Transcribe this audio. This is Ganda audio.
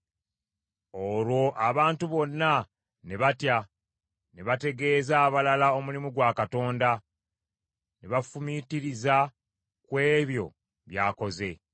Olwo abantu bonna ne batya, ne bategeeza abalala omulimu gwa Katonda, ne bafumiitiriza ku ebyo by’akoze.